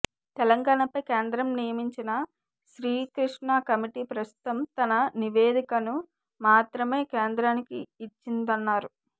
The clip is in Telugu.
తెలంగాణపై కేంద్రం నియమించిన శ్రీకృష్ణ కమిటీ ప్రస్తుతం తన నివేదికను మాత్రమే కేంద్రానికి ఇచ్చిందన్నారు